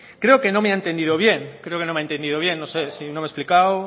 creo que no me ha entendido bien no sé si no me he explicado